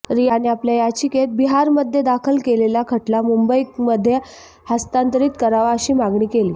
रियाने आपल्या याचिकेत बिहारमध्येदाखल केलेला खटला मुंबईकमध्ये हस्तांतरित करावा अशी मागणी केली